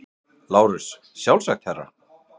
LÁRUS: Sjálfsagt, herra.